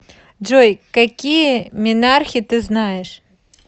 джой какие менархе ты знаешь